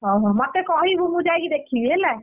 ହଉ ହଉ ମତେ କହିବୁ ମୁଁ ଯାଇକି ଦେଖିବି ହେଲା।